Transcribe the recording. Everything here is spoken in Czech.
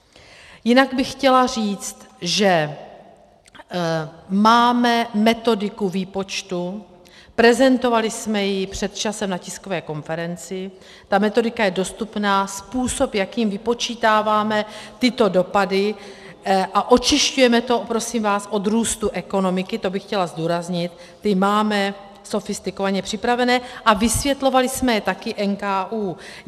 Jinak bych chtěla říci, že máme metodiku výpočtu, prezentovali jsme ji před časem na tiskové konferenci, ta metodika je dostupná, způsob, jakým vypočítáváme tyto dopady a očišťujeme to, prosím vás, od růstu ekonomiky, to bych chtěla zdůraznit, ty máme sofistikovaně připravené a vysvětlovali jsme je také NKÚ.